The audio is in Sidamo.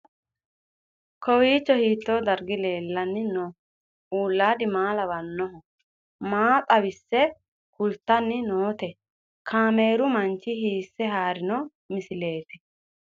Kowiicho hiito dargi leellanni no ? ulayidi maa lawannoho ? maa xawisse kultanni noote ? kaameru manchi hiisse haarino misileeti?